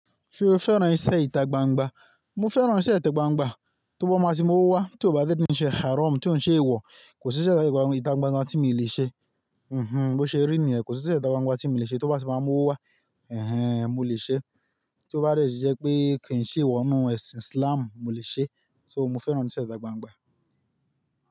Ṣé o fẹ́ràn iṣẹ́ ìta gbangba? Mo fẹ́ràn iṣẹ́ ìta gbangba, tó bá máa tí mo wá, tó bá ti ní iṣẹ́ harom tí ò ń ṣe èèwọ̀, kò sí iṣẹ́ ìta gbangba tí mo lè ṣe. Bose rí ni yẹn, kò sí iṣẹ́ ìta gbangba tí mo lè ṣe tó bá ti máa mú owá wa. Ẹ̀hẹn, mo lè ṣe. Tó bá ti jẹ́ pé kì í ṣe èèwọ̀ nínú ẹ̀sìn Islam, mo lè ṣe. So mo fẹ́ràn iṣẹ́ ìta gbangba.